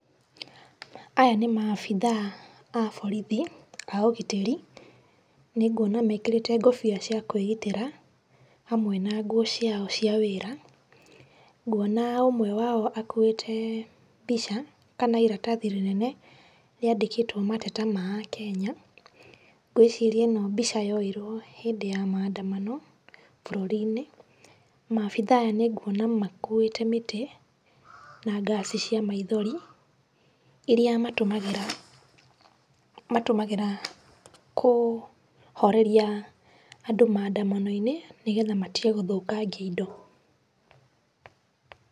Aya nĩ maabithaa a borithi a ũgitĩri. Nĩnguona mekĩrĩte ngũbia cia kwĩgitĩra hamwe na nguo ciao cia wĩra. Nguona ũmwe wao akuĩte mbica kana iratathi rĩnene rĩandĩkĩtwo mateta ma Akenya. Ngwĩciria ĩno mbica yoirwo hĩndĩ ya maandamano bũrũri-inĩ. Maabitha aya nĩnguona makuĩte mĩtĩ na ngaci cia maithori, iria matũmagĩra matũmagĩra kũhoreria andũ maandamano-inĩ nĩgetha matige gũthũkangia indo.